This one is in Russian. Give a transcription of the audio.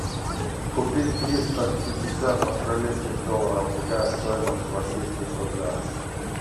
купить триста пятьдесят австралийских долларов какая стоимость в российских рублях